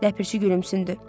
Ləpirçi gülümsündü.